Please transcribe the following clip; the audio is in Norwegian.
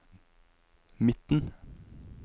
midten